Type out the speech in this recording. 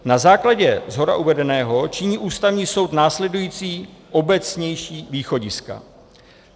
"Na základě shora uvedeného činí Ústavní soud následující obecnější východiska.